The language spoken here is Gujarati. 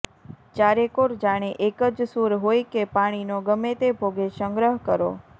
ચારેકોર જાણે એક જ સૂર હોય કે પાણીનો ગમેતે ભોગે સંગ્રહ કરો